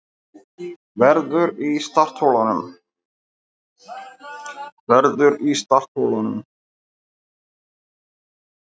Verður í startholunum